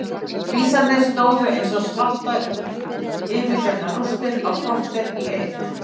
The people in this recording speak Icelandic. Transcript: Vísarnir stóðu eins og svartar yfirgefnar rústir á kortér í eitt.